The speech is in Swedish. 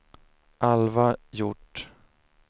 Alva Hjort